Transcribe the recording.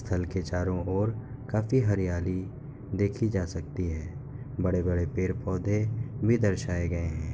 स्थल के चारो ओर काफी हरियाली देखी जा सकती है। बड़े-बड़े पेड़-पौधे भी दर्शाए गए हैं।